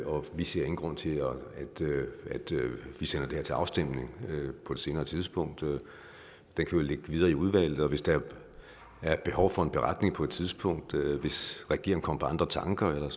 og vi ser ingen grund til at vi sender det her til afstemning på et senere tidspunkt den kan jo ligge videre i udvalget og hvis der er et behov for en beretning på et tidspunkt hvis regeringen kommer på andre tanker eller